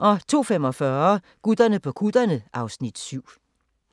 02:45: Gutterne på kutterne (Afs. 7)